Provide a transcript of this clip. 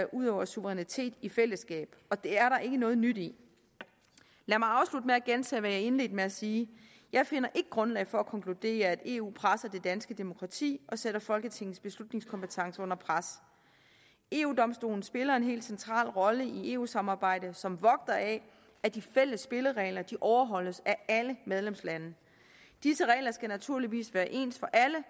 udøver suverænitet i fællesskab og det er der ikke noget nyt i lad mig afslutte med at gentage hvad jeg indledte med at sige jeg finder ikke grundlag for at konkludere at eu presser det danske demokrati og sætter folketingets beslutningskompetence under pres eu domstolen spiller en helt central rolle i eu samarbejdet som vogter af at de fælles spilleregler overholdes af alle medlemslande disse regler skal naturligvis være ens for alle